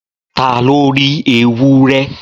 ta lo ri ewurẹ?